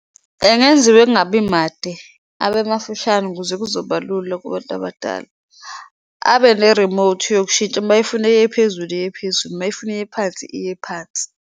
Engenziwa engabi made abemafushane ukuze kuzoba lula kubantu abadala, abe nerimothi yokushintsha mayefuna eyephezulu iyephezulu, mayefuna eyephansi, iye phansi.